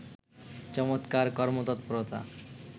চমৎকার কর্মতৎপরতা